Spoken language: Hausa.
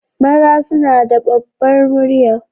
Maza suna da ɓabbar murya.